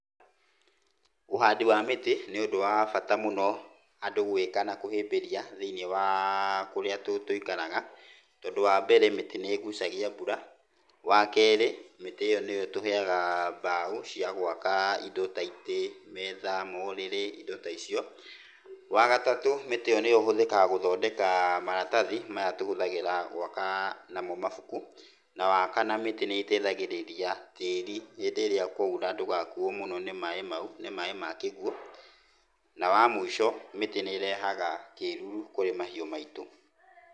Ũhandi wa mĩtĩ nĩ ũndũ wa bata mũno andũ gwĩka na kũhĩmbĩria thĩiniĩ wa kũrĩa tũikaraga tondũ wa mbere mĩtĩ nĩ ĩgucagia mbura, wa kerĩ mĩtĩ ĩyo nĩyo ĩtũheaga mbao cia gwaka indo ta itĩ, metha, morĩrĩ, indo ta icio. Wa gatatũ mĩtĩ ĩyo nĩyo ĩhũthĩkaga gũthondeka marathathi maya tũhũthĩraga gwaka namo mabuku, na wa kana mĩtĩ nĩ ĩteithagĩrĩria tĩĩri hĩndĩ ĩrĩa kwoira ndũgakuwo mũno nĩ maĩ mau, nĩ maĩ ma kĩguo, na wa mũico mĩtĩ nĩ ĩrehaga kĩruru kũrĩ mahĩu maitũ.